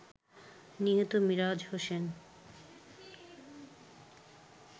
নিহত মিরাজ হোসেন